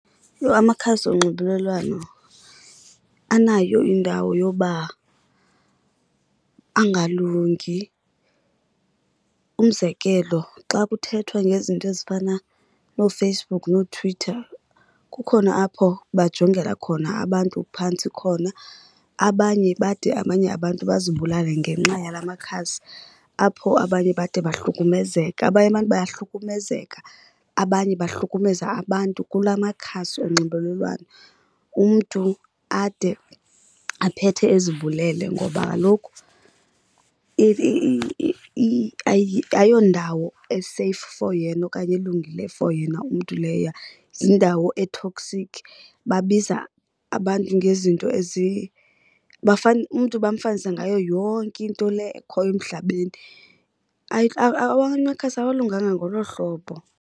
Yho, amakhasi onxibelelwano anayo indawo yoba angalungi. Umzekelo xa kuthethwa ngezinto ezifana nooFacebook nooTwitter kukhona apho bajongela khona abantu phantsi khona, abanye bade abanye abantu bazibulale ngenxa yalaa makhasi apho abanye bade bahlukumezeka. Abanye abantu bayahlukumezeka, abanye bahlukumeza abantu kulaa makhasi onxibelelwano, umntu ade aphethe ezibulele. Ngoba kaloku ayiyo ndawo eseyifu for yena okanye elungile for yena umntu leya, yindawo e-toxic. Babiza abantu ngezinto , umntu bamfanisa ngayo yonke into le ekhoyo emhlabeni. Amakhasi awalunganga ngolo hlobo.